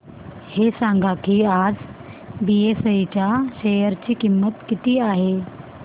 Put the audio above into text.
हे सांगा की आज बीएसई च्या शेअर ची किंमत किती आहे